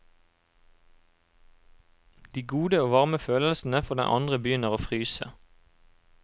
De gode og varme følelsene for den andre begynner å fryse.